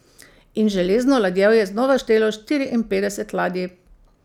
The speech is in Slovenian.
In Železno ladjevje je znova štelo štiriinpetdeset ladij.